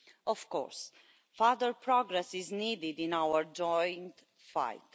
Of course, further progress is needed in our joint fight.